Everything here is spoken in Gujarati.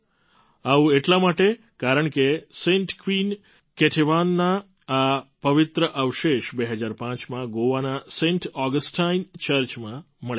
આવું એટલા માટે કારણકે સેન્ટ ક્વીન કેટેવાનના આ પવિત્ર અવશેષ ૨૦૦૫માં ગોવાના સેન્ટ ઑગસ્ટાઇન ચર્ચમાં મળ્યા હતા